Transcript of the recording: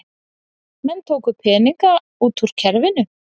Menn tóku peninga út úr kerfinu